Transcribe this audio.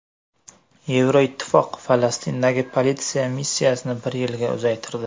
Yevroittifoq Falastindagi politsiya missiyasini bir yilga uzaytirdi.